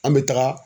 An bɛ taga